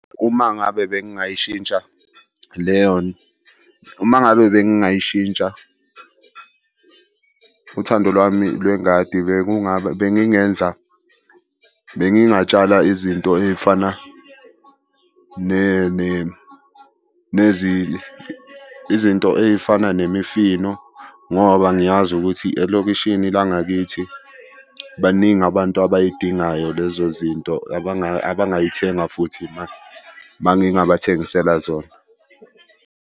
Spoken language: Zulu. Uma ngabe bengingayishintsha . Uma ngabe bengingayishintsha uthando lwami lwengadi, bengingenza bengingatshala izinto ey'fana . Izinto ey'fana nemifino ngoba ngiyazi ukuthi i elokishini langakithi baningi abantu abay'dingayo lezo zinto abangay'thenga futhi uma ngingabathengisela zona.